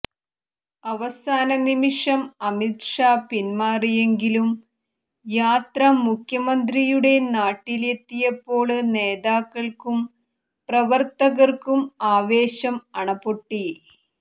അവസാന നിമിഷം അമിത്ഷാ പിന്മാറിയെങ്കിലും യാത്ര മുഖ്യമന്ത്രിയുടെ നാട്ടിലെത്തിയപ്പോള് നേതാക്കള്ക്കും പ്രവര്ത്തകര്ക്കും ആവേശം അണപൊട്ടി